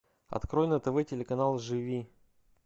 открой на тв телеканал живи